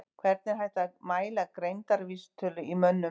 Hvernig er hægt að mæla greindarvísitölu í mönnum?